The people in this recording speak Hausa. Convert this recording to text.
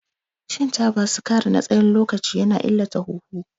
Shan taba sigari tsawon lokaci ya na illata huhu.